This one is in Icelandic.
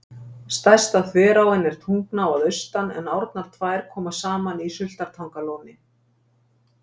Stærsta þveráin er Tungnaá að austan en árnar tvær koma saman í Sultartangalóni.